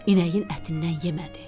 İnəyin ətindən yemədi.